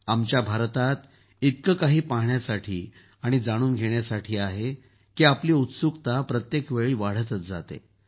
आमच्या भारतात इतकं काही पहाण्यासाठी आणि जाणून घेण्यासाठी आहे की आपली उत्सुकता प्रत्येक वेळा वाढतच जाते